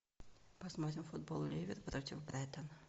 посмотрим футбол ливер против брайтона